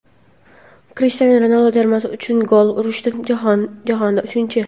Krishtianu Ronaldu termasi uchun gol urishda jahonda uchinchi.